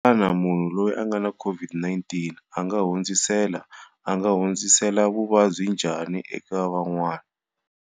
Xana munhu loyi a nga na COVID-19 a nga hundzisela a nga hundzisela vuvabyi njhani eka van'wana?